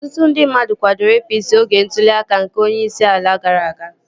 Ọtụtụ ndị mmadụ kwadoro APC oge ntụli aka nke onyeisi ala gara aga